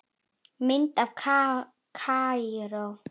Mynd af Kaíró